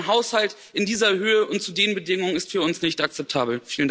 Denn ein Haushalt in dieser Höhe und zu den Bedingungen ist für uns nicht akzeptabel.